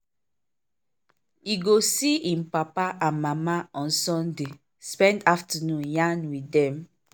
e go see im papa and mama on sunday spend afternoon yarn with dem.